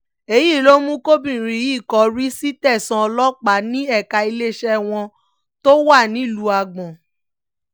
èyí ló mú kọbìnrin yìí kọrí sí tẹ̀sán ọlọ́pàá ní ẹ̀ka iléeṣẹ́ wọn tó wà nílùú agbor